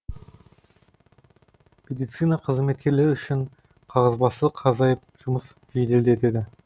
медицина қызметкерлері үшін қағазбастылық азайып жұмысы жеделдетеді